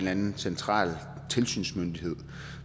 anden central tilsynsmyndighed